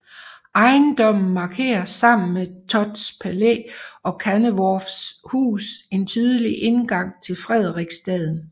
Ejendommen markerer sammen med Thotts Palæ og Kanneworffs Hus en tydelig indgang til Frederiksstaden